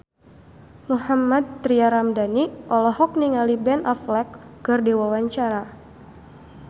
Mohammad Tria Ramadhani olohok ningali Ben Affleck keur diwawancara